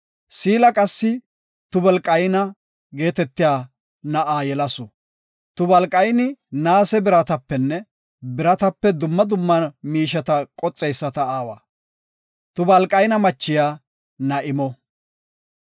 Siila qassi Tubalqayna geetetiya na7aa yelasu. Tubalqayni naase biratapenne biratape dumma dumma miisheta qoxeysata aawa. Tubalqayna michiya Na7imo.